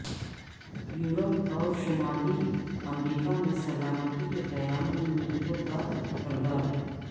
Europe اور شمالی امریکہ میں سلامتی کے قیام میں نیٹو کا کردار